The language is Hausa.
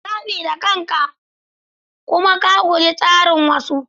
Zabi da kanka kuma ka guji tasirin wasu.